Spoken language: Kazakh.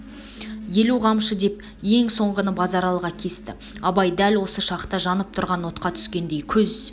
елу қамшы деп ең соңғыны базаралыға кесті абай дәл осы шақта жанып тұрған отқа түскендей көз